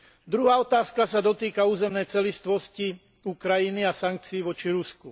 Druhá otázka sa dotýka územnej celistvosti Ukrajiny a sankcií voči Rusku.